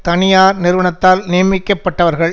தனியார் நிறுவனத்தால் நியமிக்கப்பட்டவர்கள்